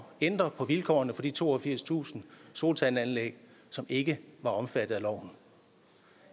ændre på vilkårene for de toogfirstusind solcelleanlæg som ikke var omfattet af loven